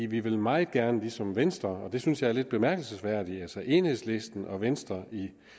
vi vil meget gerne ligesom venstre og det synes jeg er lidt bemærkelsesværdigt altså at enhedslisten og venstre